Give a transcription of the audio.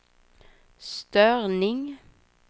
störning